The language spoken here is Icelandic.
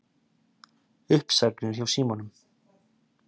Uppsagnir hjá Símanum